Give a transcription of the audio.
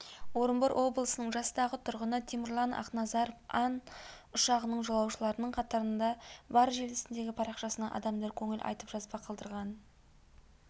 орынбор облысының жастағы тұрғыны темірлан ақназаров ан ұшағының жолаушыларының қатарында бар желісіндегі парақшасына адамдар көңіл айтып жазба қалдырған